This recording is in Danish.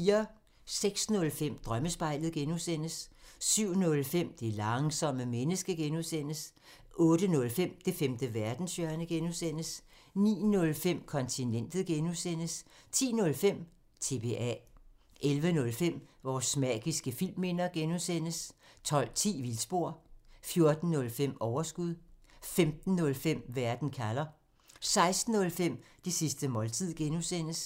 06:05: Drømmespejlet (G) 07:05: Det langsomme menneske (G) 08:05: Det femte verdenshjørne (G) 09:05: Kontinentet (G) 10:05: TBA 11:05: Vores magiske filmminder (G) 12:10: Vildspor 14:05: Overskud 15:05: Verden kalder 16:05: Det sidste måltid (G)